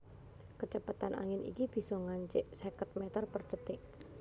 Kacepetan angin iki bisa ngancik seket mèter per dhetik